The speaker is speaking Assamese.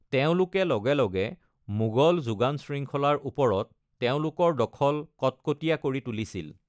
তেওঁলোকে লগে লগে মোগল যোগান শৃংখলাৰ ওপৰত তেওঁলোকৰ দখল কটকটীয়া কৰি তুলিছিল।